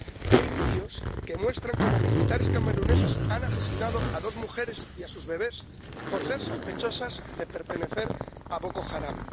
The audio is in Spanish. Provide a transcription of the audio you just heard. Hay vídeos que muestran cómo militares cameruneses han asesinado a dos mujeres y a sus bebés, por ser sospechosas de pertenecer a Boko Haram.